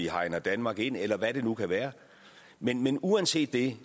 hegner danmark ind eller hvad det nu kan være men men uanset det